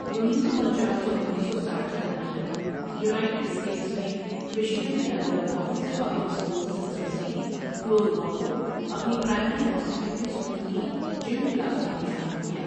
انیس سو پنچاس اور انیس سو ساٹھ کی دہائی تک یونائیٹڈ اسٹیٹس میں مشیگن کے اندر بہت سے پبلک اسکول سسٹمز نے فلور بال کو اپنی پرائمری اور سیکنڈری اسکول کی جم کلاسوں میں شامل کیا۔